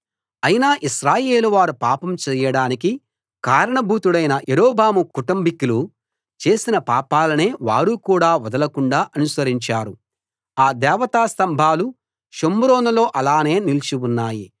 అయినా ఇశ్రాయేలు వారు పాపం చేయడానికి కారణభూతుడైన యరొబాము కుటుంబికులు చేసిన పాపాలనే వారు కూడా వదలకుండా అనుసరించారు ఆ దేవతాస్తంభాలు షోమ్రోనులో అలానే నిలిచి ఉన్నాయి